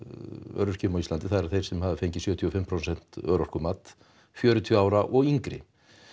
öryrkjum á Íslandi það eru þeir sem hafa fengið sjötíu og fimm prósent örorkumat fjörutíu ára og yngri